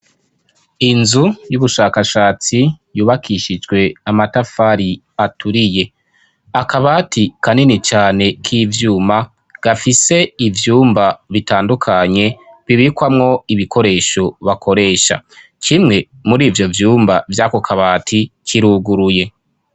Inzu y'ubushakashatsi yubakishijwe amatafari aturiye akabati kanini cane k'ivyuma gafise ivyumba bitandukanye bibikwamwo ibikoresho bakoresha kimwe muri ivyo vyumba vy'ako kabati kiruguruye.